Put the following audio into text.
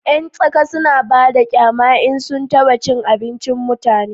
yan tsaka suna bada kyama in sun taba abincin mutane